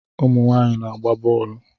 Ụmụ nwaanyị na-agba bọọlụ